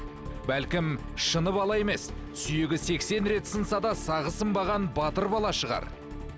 бәлкім шыны бала емес сүйегі сексен рет сынса да сағы сынбаған батыр бала шығар